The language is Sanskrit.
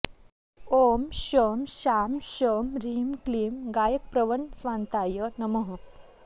ॐ शं शां षं ह्रीं क्लीं गायकप्रवणस्वान्ताय नमः